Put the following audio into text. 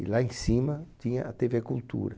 E lá em cima tinha a Tevê Cultura.